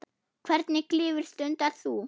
Hvernig klifur stundar þú?